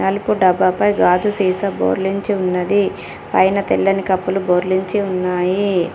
Milk డబ్బా పై గాజు సీసా బోర్లించి ఉన్నది పైన తెల్లని కప్పులు బోర్లించి ఉన్నాయి.